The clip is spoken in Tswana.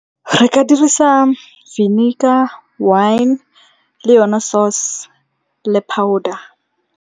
Re ka dirisa vinegar, wine le yone source, le powder.